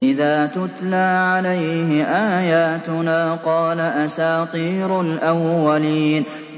إِذَا تُتْلَىٰ عَلَيْهِ آيَاتُنَا قَالَ أَسَاطِيرُ الْأَوَّلِينَ